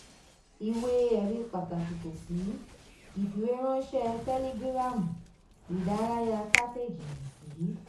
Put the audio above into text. ìwé-ẹ̀rí pàtàkì kò sí: ìfìwéránṣẹ́ tẹ́lígíráàmù ìdárayá kátéèjì